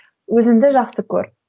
өзіңді жақсы көр